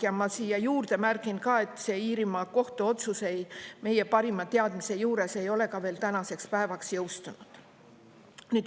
Ja ma siia juurde märgin ka, et see Iirimaa kohtu otsus ei, meie parima teadmise juures ei ole veel tänaseks päevaks jõustunud.